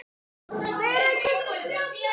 Elsku Jói minn.